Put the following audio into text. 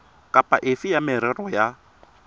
kapa efe ya merero ya